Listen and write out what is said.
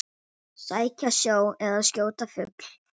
Sækja sjó eða skjóta fugl.